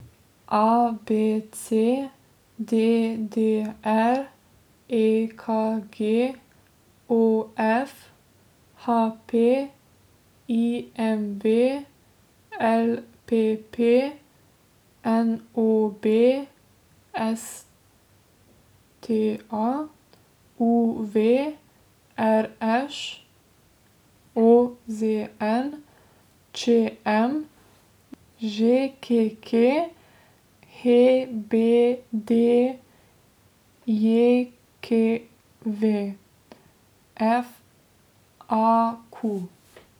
A B C; D D R; E K G; O F; H P; I M V; L P P; N O B; S T A; U V; R Š; O Z N; Č M; Ž K K; H B D J K V; F A Q.